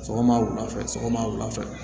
Sɔgɔma wulafɛ sɔgɔma wula fɛ